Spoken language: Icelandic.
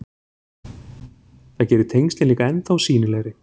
Það gerir tengslin líka ennþá sýnilegri.